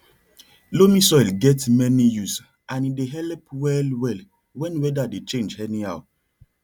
loamy soil get many use and e dey help well well when weather dey change anyhow